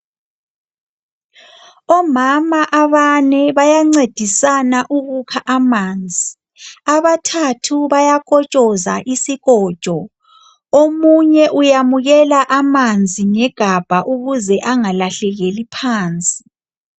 Omama abane bayancedisana ukukha amanzi. Abathathu bayakotshoza isikotsho, omunye uyamukela amanzi ngegabha ukuze angalahlekeli phansi.